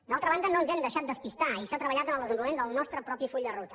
d’altra banda no ens hem deixat despistar i s’ha treballat en el desenvolupament del nostre propi full de ruta